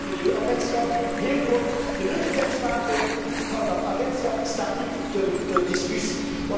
EFSA. Ten slotte het Milieuagentschap, heel kort. De nuttigheidswaarde van dat agentschap staat niet ter discussie.